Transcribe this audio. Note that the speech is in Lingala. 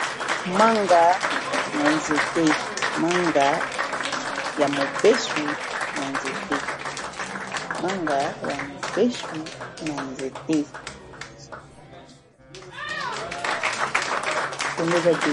Manga ya mobesu na nzete.